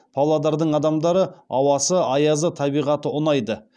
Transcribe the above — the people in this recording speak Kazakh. павлодардың адамдары ауасы аязы табиғаты ұнайды